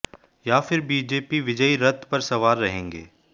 या फिर बीजेपी विजयी रथ पर सवार रहेंगें